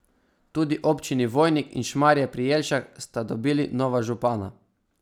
Tudi občini Vojnik in Šmarje pri Jelšah sta dobili nova župana.